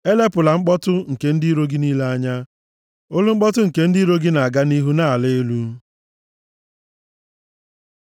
Elepụla mkpọtụ nke ndị iro gị niile anya, olu mkpọtụ nke ndị iro gị na-aga nʼihu na-ala elu.